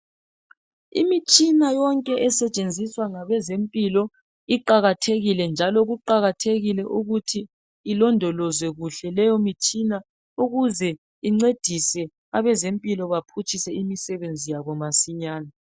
Imitshina yonke esetshenziswa ngabezempilo iqakathekile njalo kuqakathekile ukuthi ilondolozwe kuhle leyo mitshina ukuze incedise abezempilo baphutshise imisebenzi yabo masinyane.